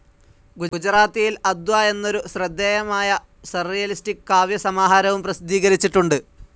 ഗുജാറാത്തിയിൽ അദ്വ എന്നൊരു ശ്രദ്ധേയമായ സർറിയലിസ്റ്റിക് കാവ്യ സമാഹാരവും പ്രസിദ്ധീകരിച്ചിട്ടുണ്ട്.